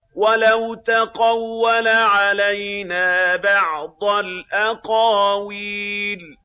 وَلَوْ تَقَوَّلَ عَلَيْنَا بَعْضَ الْأَقَاوِيلِ